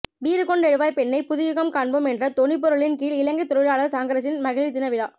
வீறுகொண்டெழுவாய் பெண்ணே புதுயுகம் காண்போம் என்ற தொனிப்பொருளின் கீழ் இலங்கை தொழிலாளர் காங்கிரஸின் மகளிர் தின விழா